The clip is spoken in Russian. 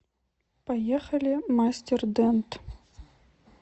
поехали мастер дент